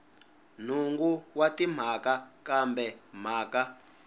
nhungu wa timhaka kambe mhaka